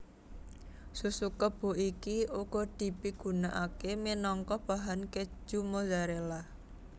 Susu kebo iki uga dipigunakaké minangka bahan keju Mozzarella